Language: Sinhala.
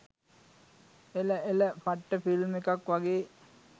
එල එල පට්ට ෆිල්ම් එකක් වගේ